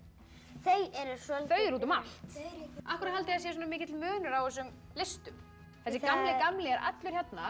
þau eru soldið þau eru út um allt af hverju haldið þið að sé svona mikill munur á þessum listum þessi gamli er allur hérna